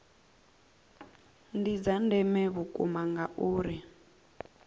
ndi dza ndeme vhukuma ngauri